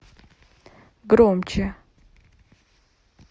громче